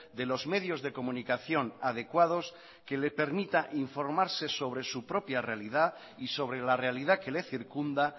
de los medios de comunicación adecuados que le permita informarse sobre su propia realidad y sobre la realidad que le circunda